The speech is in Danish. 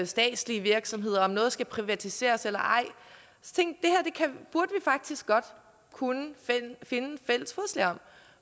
statslige virksomheder og om noget skal privatiseres eller ej faktisk godt burde finde fælles fodslag om